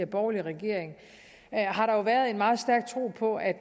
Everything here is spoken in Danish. borgerlige regering har været en meget stærk tro på at